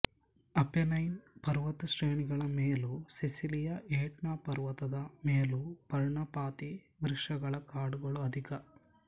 Apennine ಪರ್ವತಶ್ರೇಣಿಗಳ ಮೇಲೂ ಸಿಸಿಲಿಯ ಎಟ್ನ ಪರ್ವತದ ಮೇಲೂ ಪರ್ಣಪಾತೀ ವೃಕ್ಷಗಳ ಕಾಡುಗಳು ಅಧಿಕ